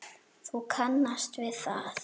Þú kannast við það!